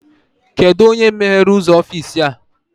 Kedụ onye meghere ụzọ ọfịịsi a?